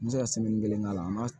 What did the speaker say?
N bɛ se ka kelen k'a la n b'a